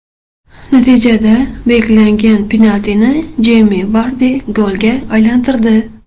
Natijada belgilangan penaltini Jeymi Vardi golga aylantirdi.